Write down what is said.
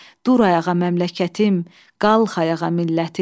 Dur ayağa məmləkətim, qalx ayağa millətim.